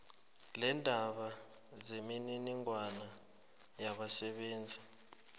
leendaba zemininingwana yabasebenzi